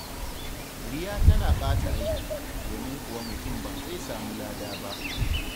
Riya tana ɓata aiki, domin kuwa mutum ba zai samu lada ba.